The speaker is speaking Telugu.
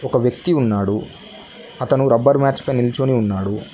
ఒక వ్యక్తి ఉన్నాడు అతను రబ్బర్ మ్యాచ్ పై నిల్చొని ఉన్నాడు